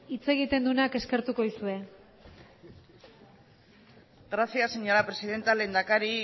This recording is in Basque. hitz egiten duenak eskertuko dizue gracias señora presidenta lehendakari